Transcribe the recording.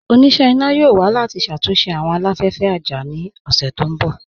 Ọ̀nínà iná yóò wà láti ṣátúnṣe awọn aláfẹ̀fẹ̀ àjá ní ọṣẹ̀ tó nbọ̀.